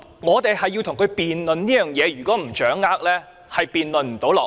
我們要與他辯論這一點，如果不掌握清楚，便無法辯論下去。